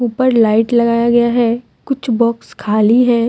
पर लाइट लगाया गया है कुछ बॉक्स खाली है।